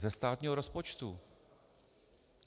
Ze státního rozpočtu.